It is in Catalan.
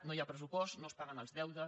no hi ha pressupost no es paguen els deutes